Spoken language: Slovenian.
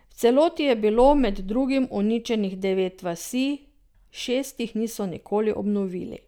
V celoti je bilo med drugim uničenih devet vasi, šest jih niso nikoli obnovili.